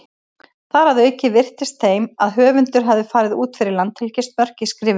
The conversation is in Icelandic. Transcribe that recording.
Þar að auki virtist þeim að höfundur hefði farið út fyrir landhelgismörk í skrifum sínum.